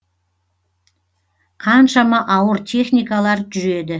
қаншама ауыр техникалар жүреді